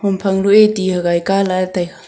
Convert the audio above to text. phang ro e ti hagai ka lah e taiga.